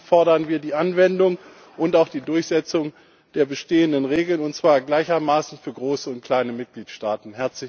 Deswegen fordern wir die Anwendung und auch die Durchsetzung der bestehenden Regeln, und zwar gleichermaßen für große und kleine Mitgliedstaaten.